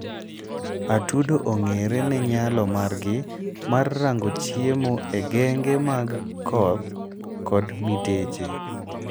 atudo ongere ne nyalo margi mar rango chiemo e genge mag koth kod miteche